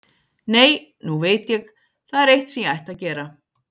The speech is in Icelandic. Nei, nú veit ég, það er eitt sem ég ætti að gera.